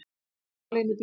Hún var ein í bílnum